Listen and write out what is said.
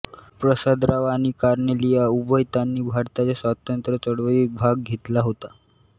प्रसादराव आणि कार्नेलिया उभयतांनी भारताच्या स्वातंत्र्य चळवळीत भाग घेतला होता